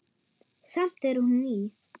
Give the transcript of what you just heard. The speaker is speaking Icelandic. Samt er hún ný.